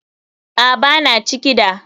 Aa, Bana ciki da.